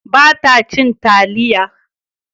Ba ta cin taliya